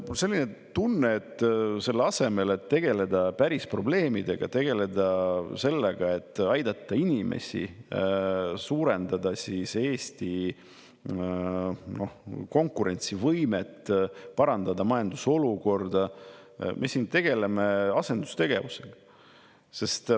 Mul on selline tunne, et selle asemel, et tegeleda päris probleemidega, tegeleda sellega, et aidata inimesi, suurendada Eesti konkurentsivõimet, parandada majandusolukorda, me tegeleme siin asendustegevusega.